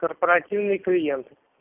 корпоративные клиенты